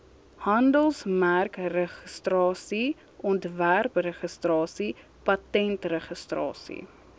handelsmerkregistrasie ontwerpregistrasie patentregistrasie